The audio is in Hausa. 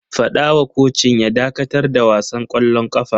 Fada wa kocin ya dakatar da wasan kwallon kafa!